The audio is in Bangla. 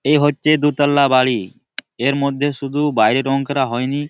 এই হচ্ছে দুতলা বাড়ি-ই। এর মধ্যে শুধু বাইরে রং করা হয়নি--